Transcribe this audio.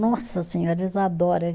Nossa senhora, eles adora.